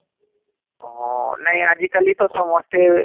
ଓହହ ..ନାଇଁ ଆଜି କାଲି ତ ସମସ୍ତେ